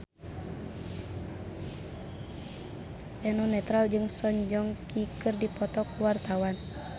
Eno Netral jeung Song Joong Ki keur dipoto ku wartawan